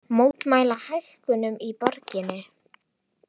Mótmæla hækkunum í borginni